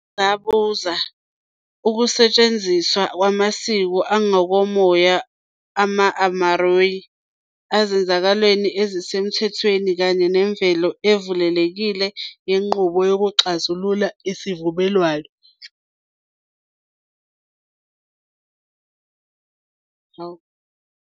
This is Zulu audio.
Uphinde wangabaza ukusetshenziswa kwamasiko angokomoya amaMāori ezenzakalweni ezisemthethweni kanye nemvelo evulekile yenqubo yokuxazulula isivumelwano.